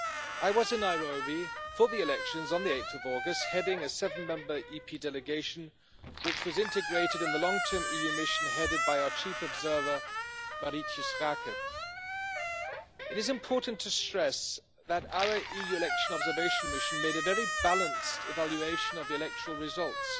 I was in Nairobi for the elections on 8 August, heading a seven Member EP delegation which was integrated in the long term EU mission headed by our chief observer, Marietje Schaake. It is important to stress that our EU election observation mission made a very balanced evaluation of the electoral results.